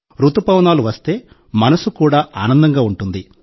రుతుపవనాలు వస్తే మనసు కూడా ఆనందంగా ఉంటుంది